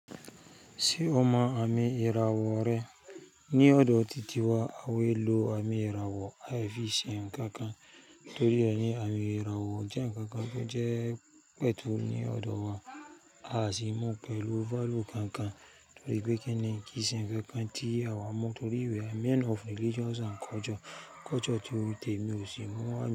Ṣé o mọ àmì ìràwọ̀ rẹ? Ní ọ̀dọ tìtì wa, àwa é lọ àmì ìràwọ̀ afìsìn ǹkan kan. Torí rẹ̀ ni àmì ìràwọ̀ jẹ́ ǹkan kan tó jẹ́ pẹ̀tù ní ọ̀dọ̀ wa. A sì mọ̀ pẹ̀lú value kan kan nítorí pé kí ni kìse ǹkan kan tí àwa mọ̀ torí ìwé. A Men of Religious and Culture tó rí tèmi ò sì mọ̀ àṣẹ.